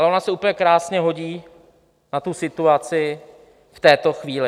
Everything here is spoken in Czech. Ale ona se úplně krásně hodí na tu situaci v této chvíli.